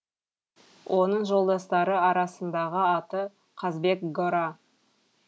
оның жолдастары арасындағы аты қазбек гора